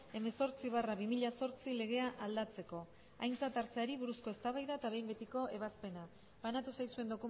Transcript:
hemezortzi barra bi mila zortzi legea aldatzeko aintzat hartzeari buruzko eztabaida eta behin betiko ebazpena banatu zaizuen